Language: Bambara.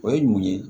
O ye mun ye